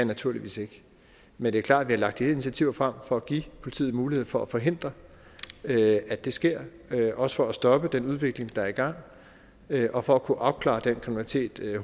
naturligvis ikke men det er klart at vi har lagt de her initiativer frem for at give politiet mulighed for at forhindre at det sker også for at stoppe den udvikling der er i gang og for at kunne opklare den slags kriminalitet